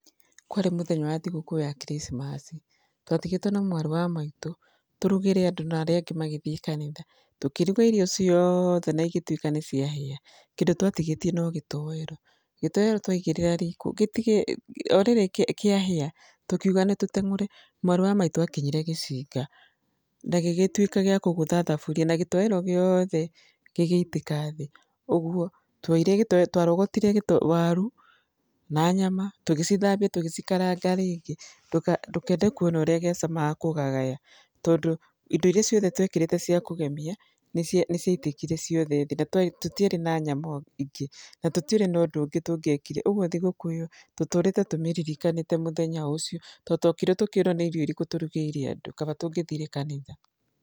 Kwarĩ mũthenya wa thigũkũ ya Christmas , twatigĩtwo na mwarĩ wa maitũ, tũrugĩre andũ na arĩa angĩ magĩthiĩ kanitha. Tũkĩruga irio ciothe na igĩtuĩka nĩ ciahĩa, kĩndũ twatigĩtie no gĩtowero. Gĩtowero twaigĩrĩra riko, o rĩrĩ kĩahĩa, tũkiuga nĩ tũteng'ũre, mwarĩ wa maitũ akinyire gĩcinga na gĩgĩtuĩka gĩa kũgũtha thaburia, na gĩtowero gĩothe gĩgĩitĩka thĩ. Ũguo twarogotire waru na nyama tũgĩcithambia tũgĩcikaranga rĩngĩ, ndũkende kuona úũíĩ ciacamaga kũgagaya, tondũ indo iria ciothe twekĩrĩte cia kũgemia nĩ ciatĩkire ciothe thĩ, na tũtiarĩ na nyama ingĩ, na tũtiarĩ na ũndũ ũngĩ tũngĩekire. Ũguo thigũkũ ĩyo tũtũrĩte tũmĩririkanĩte mũthenya ũcio tndũ tuokire tũkĩrũo nĩ irio irĩkũ tũrugĩire andu, kaba tũngĩthire kanitha.